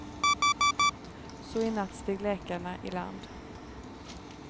Så i natt steg läkarna iland.